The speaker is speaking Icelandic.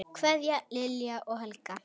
Kveðja, Lilja og Helga.